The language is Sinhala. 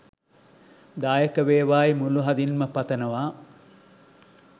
දායක වේවායි මුළු හදින්ම පතනවා